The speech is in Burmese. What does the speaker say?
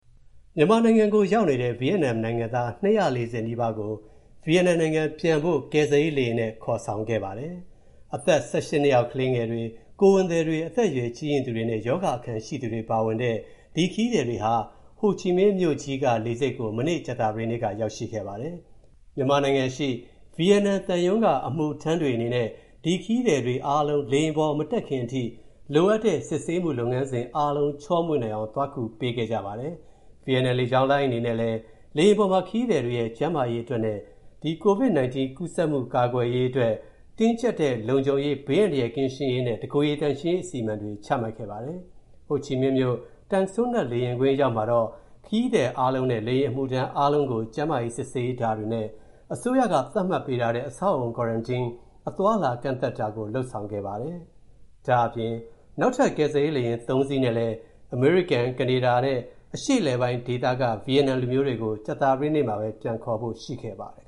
မြန်မာနိုင်ငံကိုရောက်နေတဲ့ ဗီယက်နမ်နိုင်ငံသား ၂၄၀ နီးပါးကို ဗီယက်နမ်နိုင်ငံပြန်ဖို့ ကယ်ဆယ်ရေးလေယာဉ်နဲ့ ခေါ်ဆောင်ခဲ့ပါတယ်။ အသက် ၁၈ နှစ်အောက် ကလေးငယ်တွေ၊ ကိုယ်ဝန်သည်တွေ၊ အသက်အရွယ်ကြီးရင့်သူတွေနဲ့ ရောဂါအခံရှိသူတွေပါဝင်တဲ့ ဒီ ခရီးသည်တွေဟာ ဟိုချီမင်းမြို့ကြီးက လေဆိပ်ကို မနေ့ကြာသပတေးက ရောက်ရှိခဲ့ပါတယ်။ မြန်မာနိုင်ငံရှိ ဗီယက်နမ်သံရုံး အမူူထမ်းတွေ အနေနဲ့ ဒီခရီးသည်တွေအားလုံး လေယာဉ်ပေါ်မတက်ခင် လိုအပ်တဲ့ စစ်ဆေးမူလုပ်ငန်းစဉ်အာလုံး ချောမွေ့နိုင်အောင် သွားကူပေးခဲ့ကြပါတယ်။ ဗီယက်နမ်လေကြောင်းလိုင်း အနေနဲ့လည်း လေယာဉ်ပေါ်မှာ ခရီးသည်တွေရဲ့ ကျန်းမာရေးအတွက်နဲ့ ကိုဗစ်-၁၉ ကူးစက်မူကာကွယ်ရေးအတွက် တင်းကြပ်တဲ့ လုံခြုံရေး၊ ဘေးအန္တရာယ်ကင်းရေးနဲ့ တကိုယ်ရည်သန့်ရှင်းရေး အစီအမံတွေ ချမှတ်ခဲ့ပါတယ်။ ဟိုချီမင်းမြို့ Tan Son Nhat လေယာဉ်ကွင်းအရောက်မှာတော့ ခရီးသည်အားလုံးနဲ့ လေယာဉ်အမူထမ်းအားလုံးကို ကျန်းမာရေးစစ်ဆေးတာတွေနဲ့ အစိုးရသတ်မှတ်ပေးတဲ့ အဆောက်အအုံ Quarantine အသွားအလာကန့်သတ်တာကို လုပ်ဆောင်ခဲ့ပါတယ်။ ဒါ့အပြင် နောက်ထပ် ကယ်ဆယ်ရေးလေယာဉ် (၃) စီးနဲ့လည်း၊ အမေရိကန်၊ အရှေ့အလယ်ပိုင်းဒေသနဲ့ ကနေဒါရောက် ဗီယက်နမ်လူမျိုးတွေကို ကြာသပတေးနေ့မှာပဲ ပြန်ခေါ်ဖို့ရှိခဲ့ပါတယ်